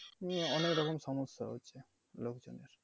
মানে অনেক রকম সমস্যা লোকজনের।